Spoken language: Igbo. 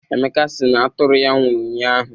Emeka si na atụrụ ya nwụrụ ụnyaahụ.